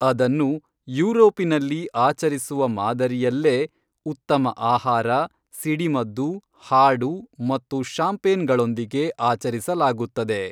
ಅದನ್ನು ಯೂರೋಪಿನಲ್ಲಿ ಆಚರಿಸುವಮಾದರಿಯಲ್ಲೇ ಉತ್ತಮ ಆಹಾರ ಸಿಡಿಮದ್ದು ಹಾಡು ಮತ್ತು ಶಾಂಪೇನ್‌ಗಳೊಂದಿಗೆ ಆಚರಿಸಲಾಗುತ್ತದೆ